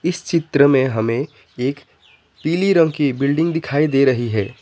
इस चित्र में हमें एक पीले रंग की बिल्डिंग दिखाई दे रही है।